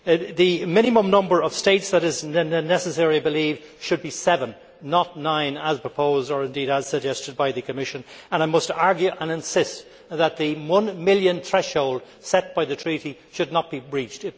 The minimum number of states that is necessary, I believe, should be seven, not nine, as proposed or indeed as suggested by the Commission, and I must argue and insist that the one million threshold set by the treaty should not be breached.